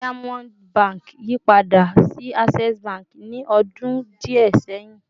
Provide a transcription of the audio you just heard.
Diamond Bank yipada si Access Bank ni ọdun diẹ sẹhin